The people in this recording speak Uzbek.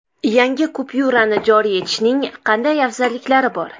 Yangi kupyurani joriy etishning qanday afzalliklari bor?